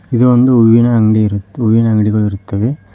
ಇದು ಒಂದು ಹೂವಿನ ಅಂಗಡಿ ಹೂವಿನ ಅಂಗಡಿಗಳು ಇರುತ್ತವೆ.